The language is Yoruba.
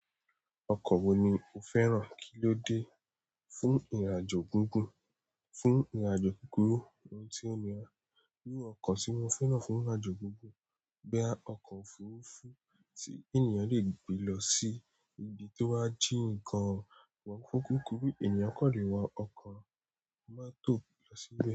Ọkọ̀ wo ni o fẹ́ràn kíló dé fún ìrìnàjò gígùn fún ìrìnàjò kúkúrú ohun tí ó nira? Iru ọkọ̀ tí mo fẹ́ràn fún ìrìnàjò gígùn, boya ọkọ̀ òfurufú tí ènìyàn le gbé lọ sí ibi tó wà jín gan amọ fún kúkúrú, ènìyàn kan lè wa ọkọ̀ mọ́tò lọ sí ibi.